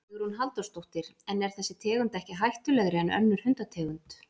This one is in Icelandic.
Hugrún Halldórsdóttir: En er þessi tegund ekki hættulegri en önnur hundategund?